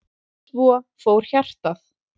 Svo fór hjartað.